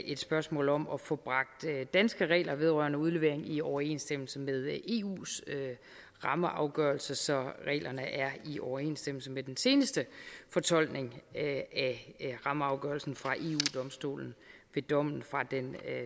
et spørgsmål om at få bragt danske regler vedrørende udlevering i overensstemmelse med eus rammeafgørelse så reglerne er i overensstemmelse med den seneste fortolkning af rammeafgørelsen fra eu domstolen ved dommen fra den